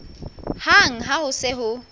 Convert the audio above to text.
hang ha ho se ho